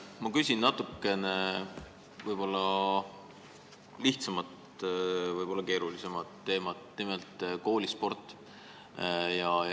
Ma küsin natukene lihtsama, aga võib-olla ka keerulisema teema, nimelt koolispordi kohta.